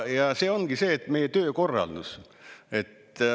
Ja see ongi see meie töökorraldus.